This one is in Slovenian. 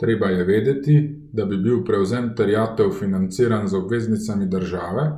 Treba je vedeti, da bi bil prevzem terjatev financiran z obveznicami države